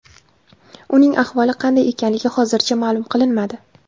Uning ahvoli qanday ekanligi hozircha ma’lum qilinmadi.